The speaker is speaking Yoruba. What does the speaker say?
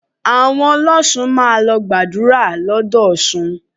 Àwọn ọlọ́ṣun máa lọ gbàdúrà l'ódò Ọ̀ṣun